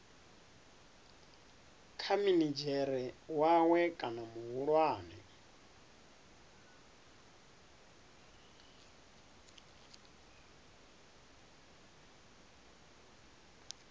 kha minidzhere wawe kana muhulwane